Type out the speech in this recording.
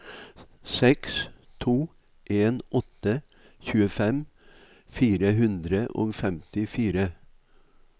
seks to en åtte tjuefem fire hundre og femtifire